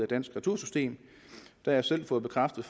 danske retursystem jeg har selv fået bekræftet